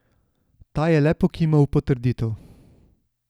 Ta je le pokimal v potrditev.